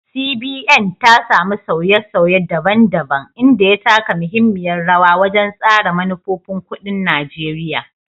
CBN, ta samu sauye-sauye daban-daban, inda ya taka muhimmiyar rawa wajen tsara manufofin kuɗin Najeriya.